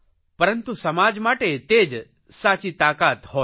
પરંતુ સમાજ માટે તે જ સાચી શકિત હોય છે